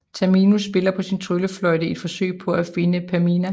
Tamino spiller på sin tryllefløjte i et forsøg på at finde Pamina